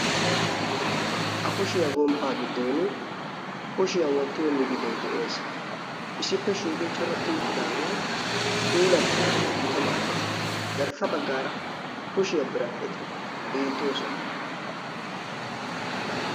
a kushiyaa gomppaa giddon kushiyaa wottiyo migidoy de'ees isippe shiiqi coratti uttidaagee puulattanaayyo gita maaddees garssa baggaara kushiyaa biradhdheti biittoosona.